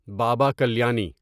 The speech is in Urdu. بابا کلیانی